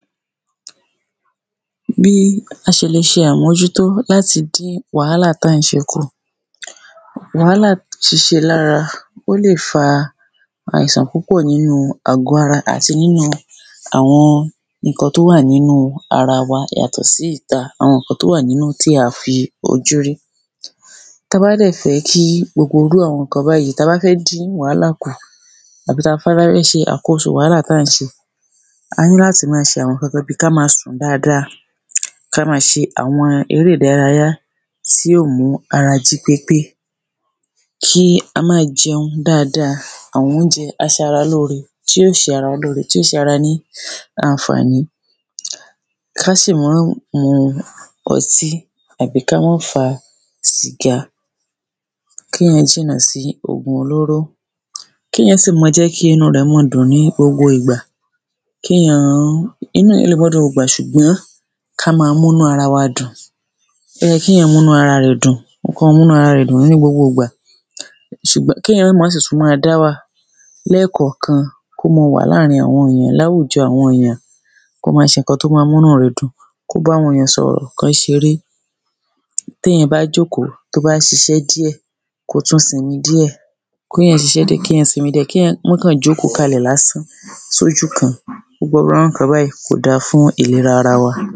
bí a ṣe le ṣe àmójútó láti dín wàhálà tá ń ṣe kù wàhálà ṣíse lára ó lè fa àìsàn púpọ̀ nínú àgó ara àti nínú àwọn nǹkan tó wà nínú ara wa yàtọ̀ sí ìta àwọn nǹkan tó wà nínú ohun tí a fi ojú rí táa bá dẹ̀ fẹ́ kí gbogbo irú àwọn nǹkan báyìí tá bá fẹ́ dín wàhálà kù àbí táa bá fẹ́ ṣe àkóso wàhálà tá ń ṣe a ní láti máa ṣe àwọn nǹkan kan bíi ká máa sùn dáadáa ká máa ṣe àwọn eré ìdárayá tí yó mú ara jí pépé kí a máa jẹun dáadáa àwọn oúnjẹ aṣaralóore tí yó ṣe ara wọn lóore tí yo ṣe ara ní àǹfàní ká sì máàn mu ọtí àbí ká má fa sìgá kéèyàn jìnà sí òògùn olóró kéèyàn sí máa jẹ́ kí inú rẹ̀ máa dùn ní gbogbo ìgbà kéèyán-án inú èèyàn lè má dùn ní gbogbo ìgbà ṣùgbọ́n ká máa múnú ara wa dùn ó yé kí èèyàn múnú ara rẹ̀ dùn kan máa múnú ara rẹ̀ dùn ní gbogbo ìgbà ṣùgbọ́n kéèyàn má máa sì tún máa dáwà lẹ́ẹ̀kọ̀ọ̀kan kó maa wa láàrin àwọn èèyàn láwùjọ àwọn èèyàn kó máa ṣe nǹkan tó máa múnú rẹ̀ dùn kó báwọn èèyàn sọ̀rọ̀ kán ṣeré téèyàn bá jókòó tó bá ṣiṣẹ́ díẹ̀ kó tún sinmi díẹ̀ kéèyàn ṣiṣẹ́ díẹ̀ kéèyàn sinmi díẹ̀ kéèyàn má kàn jókòó kalẹ̀ lásán sójú kan gbogbo àwọn irú nǹkan báyìí kó dáa fún ìlera ara wa